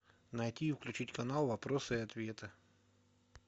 найти и включить канал вопросы и ответы